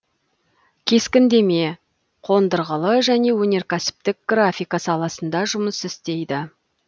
кескіндеме қондырғылы және өнеркәсіптік графика саласында жұмыс істейді